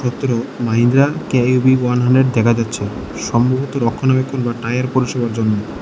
ভেতরেও Mahindra K U V one hundred দেখা যাচ্ছে সম্ভবত রক্ষণাবেক্ষণ বা টায়ার পরিষেবার জন্য।